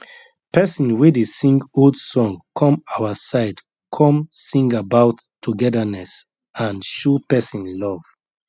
pesin wey dey sing old song come our side come sing about togetherness and show person love